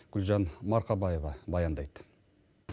гүлжан марқабаева баяндайды